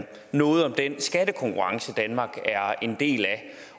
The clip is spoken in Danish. noget om den skattekonkurrence danmark er en del af